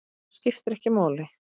Það skiptir ekki máli.